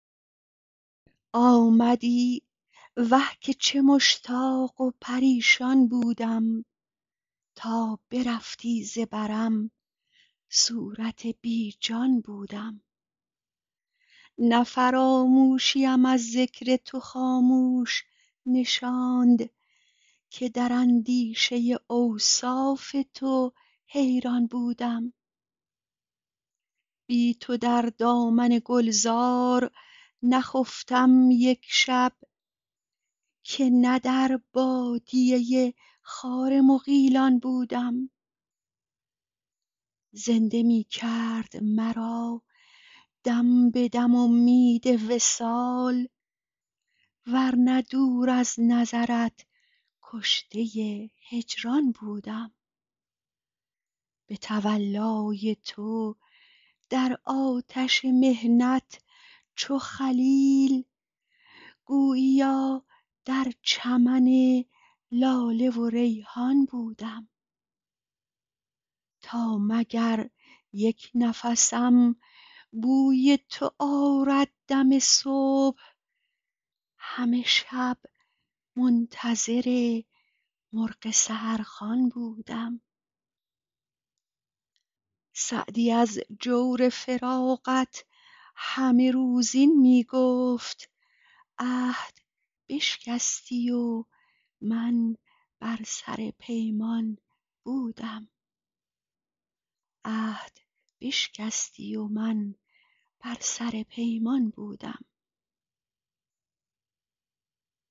آمدی وه که چه مشتاق و پریشان بودم تا برفتی ز برم صورت بی جان بودم نه فراموشیم از ذکر تو خاموش نشاند که در اندیشه اوصاف تو حیران بودم بی تو در دامن گلزار نخفتم یک شب که نه در بادیه خار مغیلان بودم زنده می کرد مرا دم به دم امید وصال ور نه دور از نظرت کشته هجران بودم به تولای تو در آتش محنت چو خلیل گوییا در چمن لاله و ریحان بودم تا مگر یک نفسم بوی تو آرد دم صبح همه شب منتظر مرغ سحرخوان بودم سعدی از جور فراقت همه روز این می گفت عهد بشکستی و من بر سر پیمان بودم